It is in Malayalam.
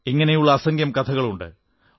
ഇങ്ങനെയുള്ള അസംഖ്യം കഥകളുണ്ട്